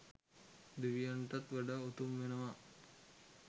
දෙවියන්ටත් වඩා උතුම් වෙනවා